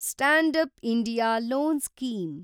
stand-up India loan scheme